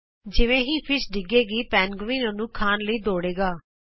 ਫੇਰ ਜਿਵੇਂ ਹੀ ਮੱਛੀ ਡਿੱਗੇਗੀ ਪੈਨਗੁਇਨ ਉਸਨੂੰ ਖਾਣ ਲਈ ਭੱਜੇਗਾ